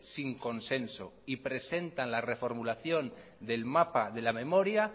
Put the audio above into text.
sin consenso y presentan la reformulación del mapa de la memoria